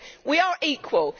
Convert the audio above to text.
We are equal.